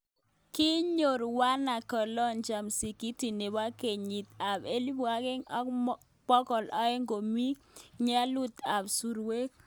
Kinyoor wanaakiolojia Msikitit nebo kenyit ab elibu agenge ak bokol aeng komi ing'onyut ab surkwen